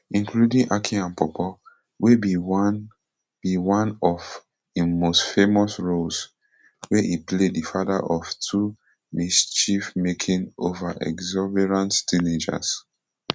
including aki and paw paw wey be one be one of im most famous roles wia e play di father of two mischiefmaking overexuberant teenagers